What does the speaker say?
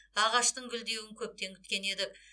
ағаштың гүлдеуін көптен күткен едік